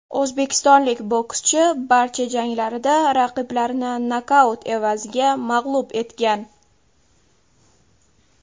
O‘zbekistonlik bokschi barcha janglarida raqiblarini nokaut evaziga mag‘lub etgan.